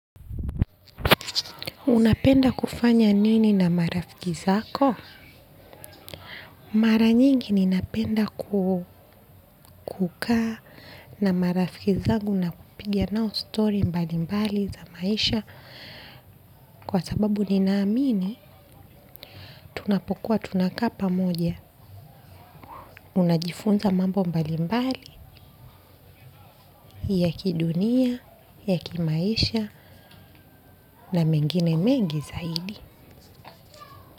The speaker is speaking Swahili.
Unapenda kufanya nini na marafiki zako? Mara nyingi ninapenda kukaa na marafiki zangu na kupiga nao story mbalimbali za maisha. Kwa sababu nina amini, tunapokuwa tunakaa pamoja. Unajifunza mambo mbalimbali ya kidunia, ya kimaisha na mengine mengi zaidi.